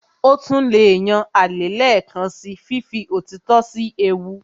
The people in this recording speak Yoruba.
Ó tún lè yan alẹ́ lẹ́ẹ̀kan síi fífi òtítọ́ sí ewu